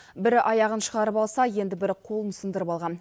бірі аяғын шығарып алса енді бірі қолын сындырып алған